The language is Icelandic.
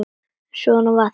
En svona var þetta.